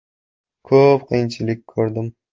Ko‘p qiyinchilik ko‘rdim.